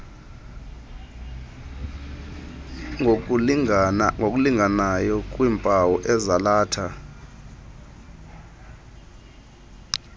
ngokulinganayo kwiimpawu ezalatha